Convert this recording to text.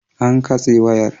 An katse wayar.